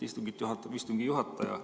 Istungit juhatab istungi juhataja.